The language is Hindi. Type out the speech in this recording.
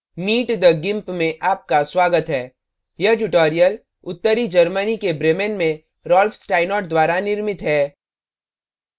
meet the gimp में आपका स्वागत है यह ट्यूटोरियल उत्तरी germany के bremen में rolf steinort द्वारा निर्मित है